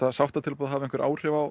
að sáttatilboðið hafi áhrif á